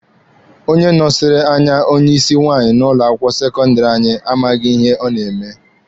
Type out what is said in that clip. Onye nọsiri anya onye isi nwaanyị n'ụlọ akwụkwọ sekọndịrị anyị amaghị ihe ọ na-eme.